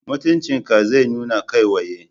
Mutunci ka zai nuna kai waye.